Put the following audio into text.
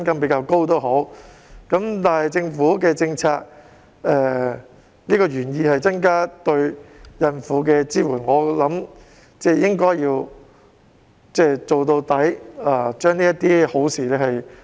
畢竟政府的政策原意是增加對孕婦的支援，我相信應該要做到底，落實這些好事。